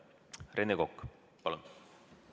Rene Kokk, palun!